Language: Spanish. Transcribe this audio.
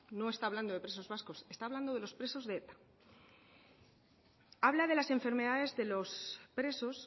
no está hablando de presos vascos está hablando de los presos de eta habla de las enfermedades de los presos